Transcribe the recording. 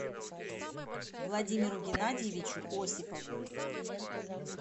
владимиру геннадьевичу осипову